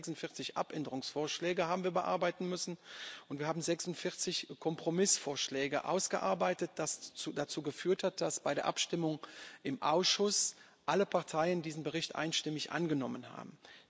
946 Änderungsanträge haben wir bearbeiten müssen und wir haben 46 Kompromissvorschläge ausgearbeitet, was dazu geführt hat, dass bei der Abstimmung im Ausschuss alle Parteien diesen Bericht einstimmig angenommen haben.